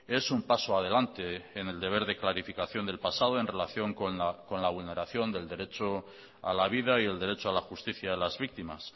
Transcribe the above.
es un paso adelante en el deber de clarificación del pasado en relación con la vulneración del derecho a la vida y el derecho a la justicia de las víctimas